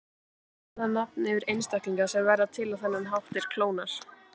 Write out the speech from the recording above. Annað nafn yfir einstaklinga sem verða til á þennan hátt er klónar.